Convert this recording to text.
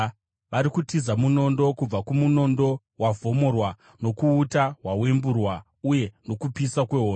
Vari kutiza munondo, kubva kumunondo wavhomorwa, nokuuta hwawemburwa, uye nokupisa kwehondo.